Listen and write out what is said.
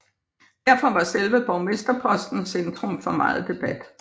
Derfor var selve borgmesterposten centrum for meget debat